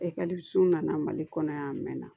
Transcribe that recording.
Ekɔliso nana mali kɔnɔ yan a mɛn na